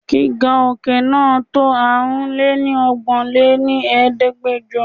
Gíga òkè náà to Aárùn lé ní ọgbọ́n lé ní Ẹ̀ẹ́dẹ́gbẹjọ.